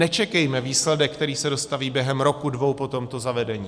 Nečekejme výsledek, který se dostaví během roku, dvou po tomto zavedení.